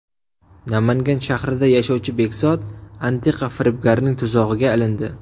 Namangan shahrida yashovchi Bekzod antiqa firibgarning tuzog‘iga ilindi.